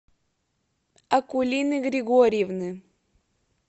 акулины григорьевны